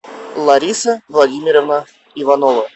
лариса владимировна иванова